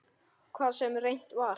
Hvað sem reynt var.